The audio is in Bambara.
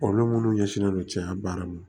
Olu minnu ɲɛsinnen do cɛya baara ma